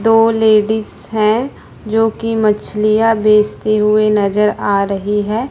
दो लेडिस है जो की मछलियां बेचती हुए नजर आ रही है।